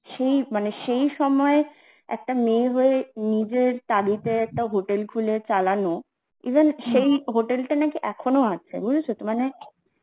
সেই মানে সেই সময়, একটা মেয়ে হয়ে নিজের তাগিদেই একটা hotel খুলে নাচালানো even সেই hotel টা নাকি এখনো আছে, বুঝেছো তো মানে